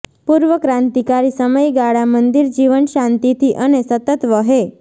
પૂર્વ ક્રાંતિકારી સમયગાળા મંદિર જીવન શાંતિથી અને સતત વહે